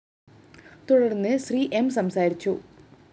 തുടര്‍ന്ന് ശ്രീ എം സംസാരിച്ചു